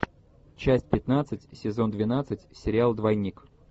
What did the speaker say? часть пятнадцать сезон двенадцать сериал двойник